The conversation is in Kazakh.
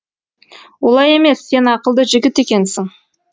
олай емес сен ақылды жігіт екенсің